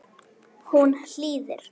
Hún hlýðir.